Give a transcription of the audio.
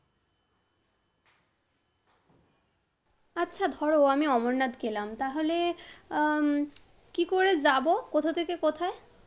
আচ্ছা ধর আমি অমরনাথ গেলাম, তাহলে উম কী করে যাব? কোথা থেকে কোথায়?